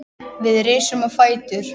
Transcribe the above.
Við rísum á fætur.